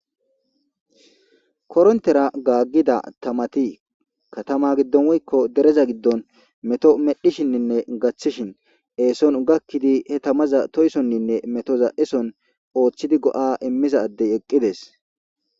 Korontera gaaggida tamati katama giddon woykko dereza giddon meto medhishinninne gachishin eeson gakkidi he tamaza toysonninne metoza eson ooththidi go'a immizaddey eqqides.